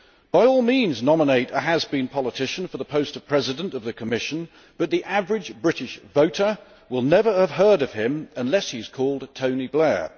By all means nominate a has been politician for the post of President of the Commission, but the average British voter will never have heard of him unless he is called Tony Blair.